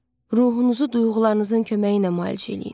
Ruhunuzu duyğularınızın köməyi ilə müalicə eləyin.